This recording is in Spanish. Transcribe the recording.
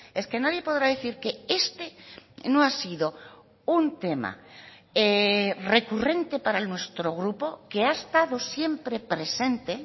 es que nadie podrá decir que este no ha sido un tema recurrente para nuestro grupo que ha estado siempre presente